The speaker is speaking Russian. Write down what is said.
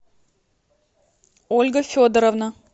ольга федоровна